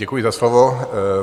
Děkuji za slovo.